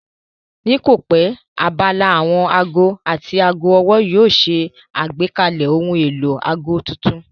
Ní kòpẹ́ abala àwọn aago àti aago ọwọ́ yóò ṣe àgbékalẹ̀ ohun èlò aago tuntun